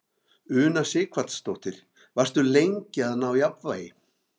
Una Sighvatsdóttir: Varstu lengi að ná jafnvægi?